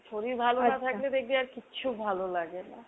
শরীর ভালো না লাগলে দেখবি আর কিচ্ছু ভালোলাগে না।